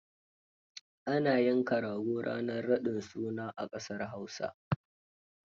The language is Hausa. Ana yanka rago ranar raɗin suna a ƙasar Hausa.